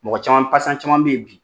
Mɔgɔ caman pasiyan caman bɛ yen bi